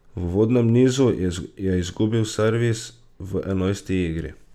V uvodnem nizu je izgubil servis v enajsti igri.